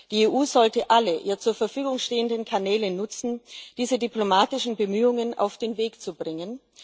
Die EU sollte alle ihr zur Verfügung stehenden Kanäle nutzen, um diese diplomatischen Bemühungen auf den Weg zu bringen.